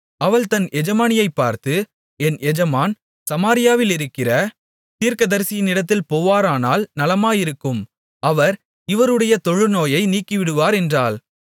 அவள் தன் எஜமானியைப் பார்த்து என் எஜமான் சமாரியாவிலிருக்கிற தீர்க்கதரிசியினிடத்தில் போவாரானால் நலமாயிருக்கும் அவர் இவருடைய தொழுநோயை நீக்கிவிடுவார் என்றாள்